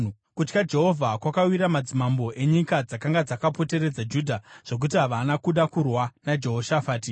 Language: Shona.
Kutya Jehovha kwakawira madzimambo enyika dzakanga dzakapoteredza Judha, zvokuti havana kuda kurwa naJehoshafati.